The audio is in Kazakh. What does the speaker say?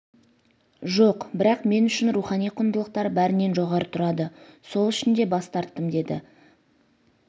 жоқ бірақ мен үшін рухани құндылықтар бәрінен жоғары тұрады сол үшін де бас тарттым деді